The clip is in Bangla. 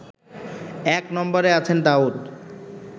এক নম্বরে আছেন দাউদ